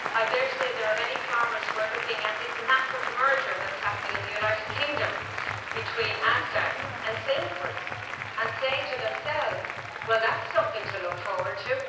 I dare say there are many farmers who are looking at this massive merger that's happening in the United Kingdom between Asda and Sainsbury's and saying to themselves, well that's something to look forward to!'